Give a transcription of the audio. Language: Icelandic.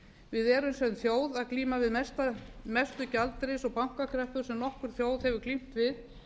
við erum sem þjóð að glíma við mestu gjaldeyris og bankakreppu sem nokkur þjóð hefur glímt við